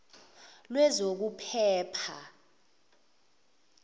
lwezokuphepha